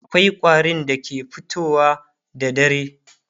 akwai ƙwarin da ke fitowa da dare